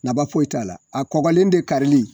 Nafa foyi t'a la a kɔgɔlen de kari.